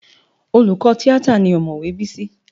Olùkọ́ tíátà ni ọ̀mọ̀wé Bísí